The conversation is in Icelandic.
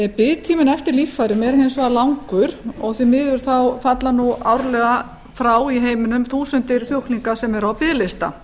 biðtíminn eftir líffærum er hins vegar langur og því miður falla árlega frá í heiminum þúsundir sjúklinga sem eru á biðlista